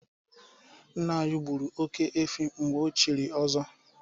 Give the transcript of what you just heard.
Nna anyị gburu oke-efi mgbe ochiri ọzọ.